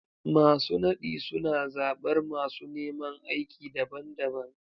Masu nadi suna zabar masu neman aiki daban-daban.